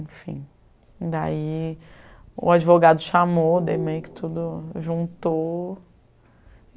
Enfim, daí o advogado chamou, daí meio que tudo juntou.